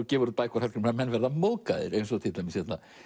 gefið út bækur Hallgrímur að menn verða móðgaðir eins og til dæmis